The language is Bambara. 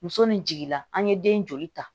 Muso ni jiginna an ye den joli ta